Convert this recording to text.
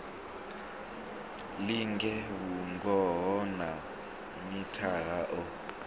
linge vhungoho ha mithara o